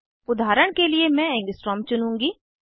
उदाहरण के लिए मैं एंगस्ट्रॉम चुनूँगी